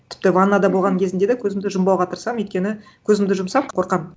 тіпті ваннада болған кезімде да көзімді жұмбауға тырысамын өйткені көзімді жұмсам қорқамын